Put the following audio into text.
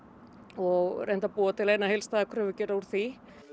og reynt að búa til eina heildstæða kröfugerð úr því